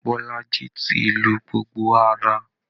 Bọ́lájí ti lu gbogbo ara.